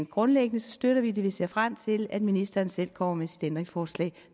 grundlæggende støtter vi det og vi ser frem til at ministeren selv kommer med et ændringsforslag